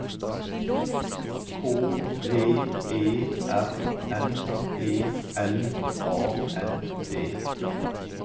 K V E R N E L A N D